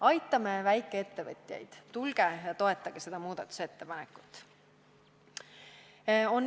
Aitame väikeettevõtjaid, tulge ja toetage seda muudatusettepanekut!